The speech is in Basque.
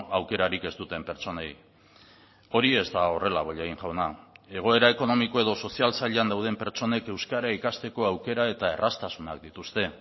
aukerarik ez duten pertsonei hori ez da horrela bollain jauna egoera ekonomiko edo sozial zailean dauden pertsonek euskara ikasteko aukera eta erraztasunak dituzte